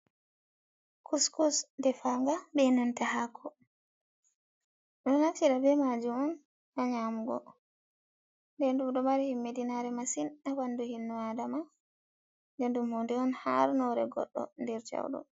Kuskus defanga be nanta hako. Ɗum ɗo naftira be majum on ha nyamugo, nden ɗum ɗo mari himmi ɗinare masin ha ɓandu innu adama. Ɗum hunde on har nore goɗɗo nder jawɗum.